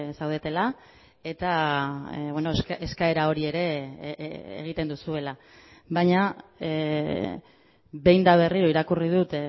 zaudetela eta eskaera hori ere egiten duzuela baina behin eta berriro irakurri dut